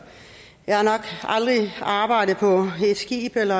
jeg har nok aldrig arbejdet på et skib eller